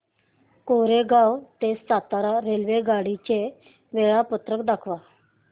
कोरेगाव ते सातारा रेल्वेगाडी चे वेळापत्रक दाखव